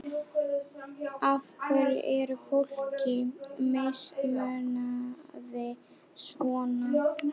Af hverju er fólki mismunað svona?